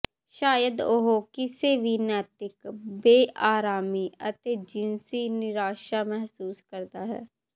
ਸ਼ਾਇਦ ਉਹ ਕਿਸੇ ਵੀ ਨੈਤਿਕ ਬੇਅਰਾਮੀ ਅਤੇ ਜਿਨਸੀ ਨਿਰਾਸ਼ਾ ਮਹਿਸੂਸ ਕਰਦਾ ਹੈ